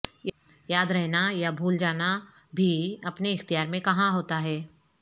یاد رہنا یا بھول جانا بھی اپنے اختیار میں کہاں ہوتا ہے